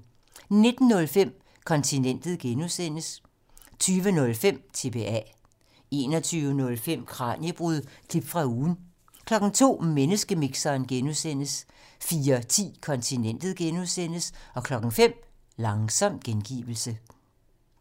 19:05: Kontinentet (G) 20:05: TBA 21:05: Kraniebrud – klip fra ugen 02:00: Menneskemixeren (G) 04:10: Kontinentet (G) 05:00: Langsom gengivelse